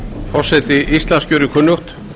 forseti íslands gerir kunnugt